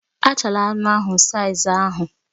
Achala anụ ahụ saiz ahụ